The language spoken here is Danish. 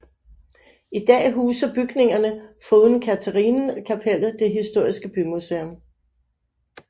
I dag huser bygningerne foruden Katharinenkapellet det historiske bymuseum